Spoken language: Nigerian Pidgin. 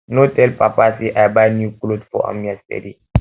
no tell papa say i buy new cloth for am yesterday